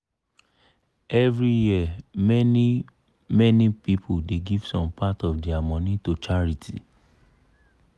every year many-many people dey give some part of dia money to charity.